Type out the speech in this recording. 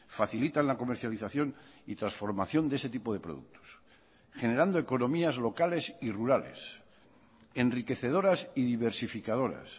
facilitan la comercialización y transformación de ese tipo de productos generando economías locales y rurales enriquecedoras y diversificadoras